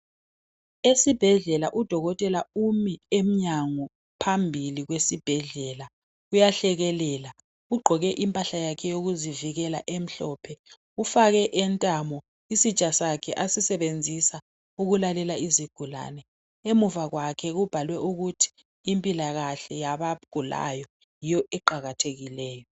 Esibhedlela udokotela umi emnyango phambili kwesibhedlela . Uyahlekelela ugqoke impahla yakhe yokuzivikela emhlophe . Ufake entamo isitsha sakhe asisebenzisa ukulalela izigulane .Emuva kwakhe kubhalwe ukuthi impilakahle yabagulayo yiyo eqakathekileyo .